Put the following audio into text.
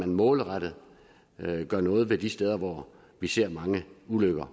målrettet gør noget ved de steder hvor vi ser mange ulykker